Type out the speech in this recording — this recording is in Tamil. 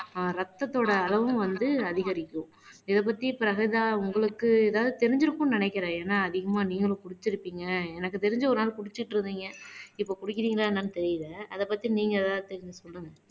ஆஹ் இரத்தத்தோட அளவும் வந்து அதிகரிக்கும் இதைப்பத்தி பிரகஜா உங்களுக்கு ஏதாவது தெரிஞ்சிருக்கும்னு நினைக்கிறேன் ஏன்னா அதிகமா நீங்களும் குடிச்சிருப்பீங்க எனக்கு தெரிஞ்சு ஒரு நாள் குடிச்சிட்டு இருந்தீங்க இப்ப குடிக்கிறீங்களா என்னன்னு தெரியல அதைப் பத்தி நீங்க ஏதாவது தெரிஞ்சு சொல்லுங்க.